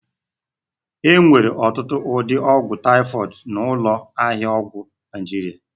E nwere ọtụtụ ụdị ọgwụ taịfọdụ n'ụlọ ahịa ọgwụ Naịjirịa